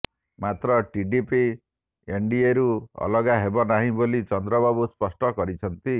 ମାତ୍ର ଟିଡିପି ଏନ୍ଡିଏରୁ ଅଲଗା ହେବ ନାହିଁ ବୋଲି ଚନ୍ଦ୍ରବାବୁ ସ୍ପଷ୍ଟ କରିଛନ୍ତି